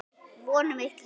Von um eilíft líf.